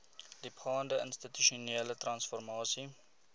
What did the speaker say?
diepgaande institusionele transformasie